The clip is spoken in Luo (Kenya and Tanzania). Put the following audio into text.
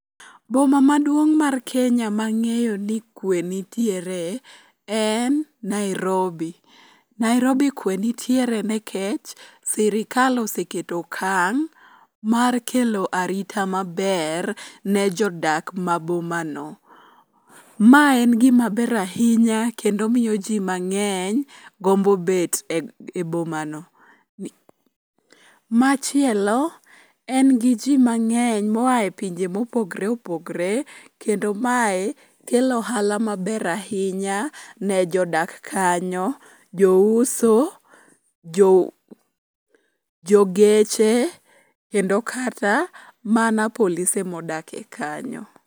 Boma maduong' mar Kenya mang'eyo ni kuwe nitiere en Nairobi. Nairobi kuwe nitiere nikech sirikal oseketo okang' mar kelo arita maber ne jodak ma bomano. Mae en gimaber ahinya kendo miyo ji mang'eny gombo bet e bomano. Machielo, en gi ji mang'eny moa e pinje mopogre opogre, kendo mae kelo ohala maber ahinya ne jodak kanyo, jouso, jogeche kendo kata mana polise modake kanyo.